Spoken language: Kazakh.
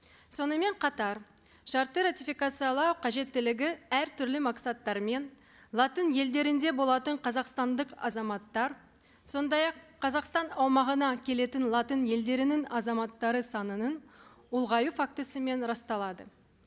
сонымен қатар шартты ратификациялау қажеттілігі әртүрлі мақсаттармен латын елдерінде болатын қазақстандық азаматтар сондай ақ қазақстан аумағына келетін латын елдерінің азаматтары санының ұлғаю фактісімен расталады